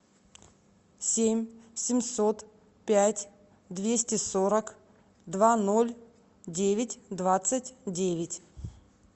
семь семьсот пять двести сорок два ноль девять двадцать девять